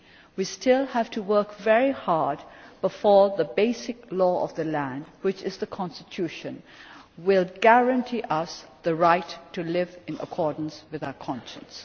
We still have to work very hard before the basic law of the land which is the Constitution will guarantee us the right to live in accordance with our conscience.